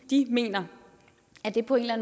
de mener at det på en eller